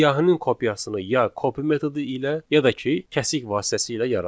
Siyahının kopyasını ya copy metodu ilə, ya da ki, kəsik vasitəsilə yaradın.